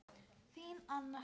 Þín, Anna.